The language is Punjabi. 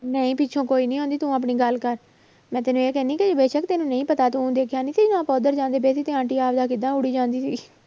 ਨਹੀਂ ਪਿੱਛੋਂ ਕੋਈ ਨੀ ਆਉਂਦੀ ਤੂੰ ਆਪਣੀ ਗੱਲ ਕਰ ਮੈਂ ਤੈਨੂੰ ਇਹ ਕਹਿੰਦੀ ਕਿ ਬੇਸ਼ਕ ਤੈਨੂੰ ਨਹੀਂ ਪਤਾ ਤੂੰ ਦੇਖਿਆ ਨੀ ਸੀਗਾ ਆਪਾਂ ਉਧਰ ਜਾਂਦੇੇ ਪਏ ਸੀ ਤੇ ਆਂਟੀ ਕਿੱਦਾਂ ਦੌੜੀ ਜਾਂਦੀ ਸੀ